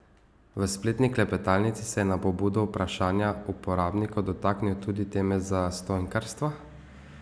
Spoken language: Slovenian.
V spletni klepetalnici se je na pobudo vprašanja uporabnikov dotaknil tudi teme zastonjkarstva.